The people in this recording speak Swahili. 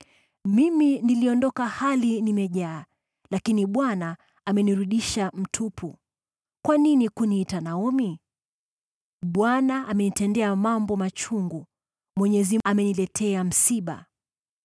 Mimi niliondoka hali nimejaa, lakini Bwana amenirudisha mtupu. Kwa nini kuniita Naomi? Bwana amenitendea mambo machungu; Mwenyezi ameniletea msiba.”